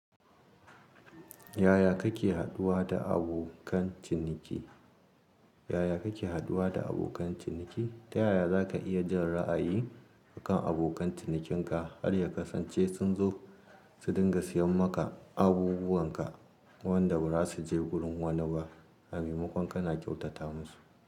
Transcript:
Yaya kake haduwa da abokan ciniki? Yaya kake haduwa da abokan ciniki? Ta yaya za ka iya jan ra'ayi akan abokan cinikinka har ya kasance sun zo su dinga siyan maka abubuwanka wanda ba za su je wurin wani ba. A maimakon kana kyautata musu.